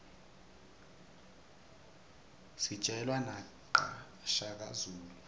sijelwa naqa shaka zulu